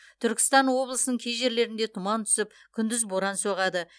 түркістан облысының кей жерлерінде тұман түсіп күндіз боран соғады